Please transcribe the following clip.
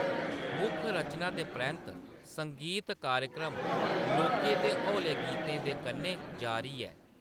मुक्ख रचना दे परैंत्त, संगीत कार्यक्रम लौह्‌‌‌के ते हौले गीतें दे कन्नै जारी ऐ।